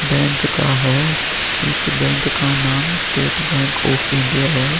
Bank का है इस बैंक का नाम स्टेट बैंक ऑफ़ इंडिया है।